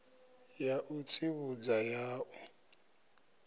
ya u tsivhudza ya u